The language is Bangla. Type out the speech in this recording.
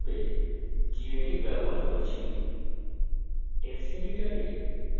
আমি আমার text editor হিসেবে gedit ব্যবহার করছি